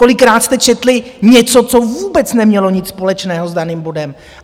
Kolikrát jste četli něco, co vůbec nemělo nic společného s daným bodem!